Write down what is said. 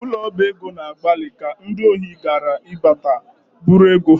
Ụlọ ọba ego na-agbalị ka ndị ohi ghara ịbata bụ̣rụ ego ha